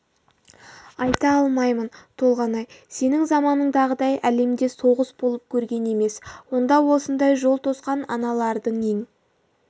айта алмаймын толғанай сенің заманыңдағыдай әлемде соғыс болып көрген емес онда осындай жол тосқан аналардың ең